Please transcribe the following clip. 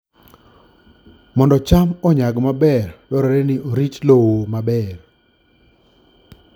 Mondo cham onyag maber, dwarore ni orit lowo maber